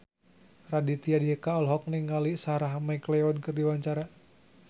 Raditya Dika olohok ningali Sarah McLeod keur diwawancara